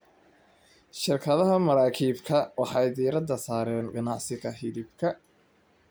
Shirkadaha maraakiibta waxay diiradda saaraan ganacsiga hilibka.